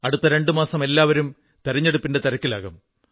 അടുത്ത രണ്ടു മാസം എല്ലാവരും തിരഞ്ഞെടുപ്പിന്റെ തിരക്കിലാകും